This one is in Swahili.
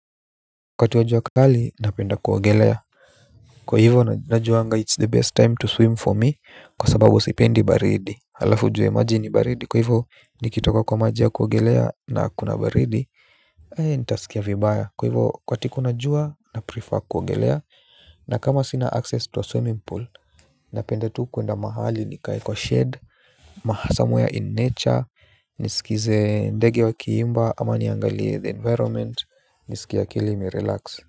Wakati wa jua kali, napenda kuogelea kwa hivyo, najuanga it's the best time to swim for me, kwa sababu sipendi baridi alafu ujwe maji ni baridi, kwa hivyo, nikitoka kwa maji ya kuogelea na hakuna baridi eeh, nitasikia vibaya, kwa hivyo, wakati kuna jua, naprefer kuogelea. Na kama sina access to swimming pool, napenda tu kuenda mahali nikae kwa shade Somewhere in nature nisikize ndege wa kiimba, ama niangalie the environment. Nisikie akili imerelax.